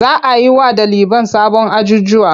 Za a yi wa ɗaliban sabon ajjujuwa.